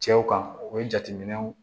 Cɛw kan o ye jateminɛw